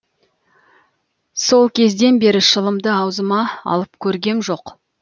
сол кезден бері шылымды аузыма алып көргем жоқ